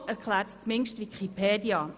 So erklärt es zumindest Wikipedia.